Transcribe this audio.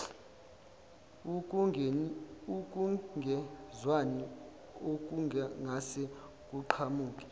ukungezwani okungase kuqhamuke